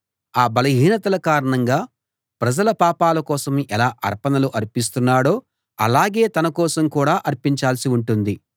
ఆ బలహీనతల కారణంగా ప్రజల పాపాల కోసం ఎలా అర్పణలు అర్పిస్తున్నాడో అలాగే తన కోసం కూడా అర్పించాల్సి ఉంటుంది